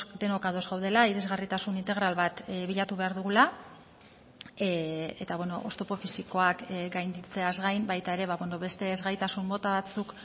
denok ados gaudela irisgarritasun integral bat bilatu behar dugula eta oztopo fisikoak gainditzeaz gain baita ere beste ezgaitasun mota batzuk